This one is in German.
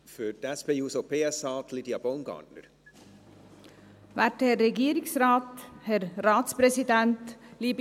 Für die SP-JUSO-PSA-Fraktion: Lydia Baumgartner.